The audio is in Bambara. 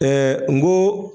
n ko.